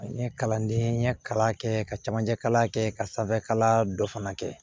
N ye kalanden ye kalan kɛ ka camancɛ kalan kɛ ka sanfɛkalan dɔ fana kɛ